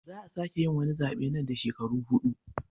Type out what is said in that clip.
Za a sake yin wani zabe nan da shekaru hudu.